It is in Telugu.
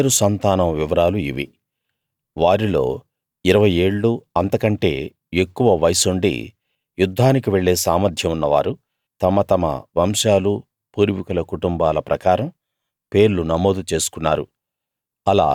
ఆషేరు సంతానం వివరాలు ఇవి వారిలో ఇరవై ఏళ్ళూ అంతకంటే ఎక్కువ వయస్సుండి యుద్ధానికి వెళ్ళే సామర్థ్యం ఉన్నవారు తమ తమ వంశాలూ పూర్వీకుల కుటుంబాల ప్రకారం పేర్లు నమోదు చేసుకున్నారు